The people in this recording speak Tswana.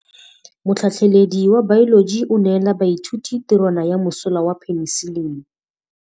Motlhatlhaledi wa baeloji o neela baithuti tirwana ya mosola wa peniselene.